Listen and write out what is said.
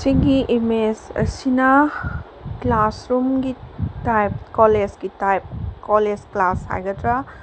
image ꯑꯁꯤꯅ classroom ꯒꯤ ꯇꯥꯏ꯭ꯄꯠ ꯀꯣꯂꯦꯖ ꯀꯤ ꯇꯥꯢ꯭ꯄꯠ ꯀꯣꯂꯦꯖ ꯀ꯭ꯂꯥꯁ ꯍꯥꯏꯒꯗꯔ --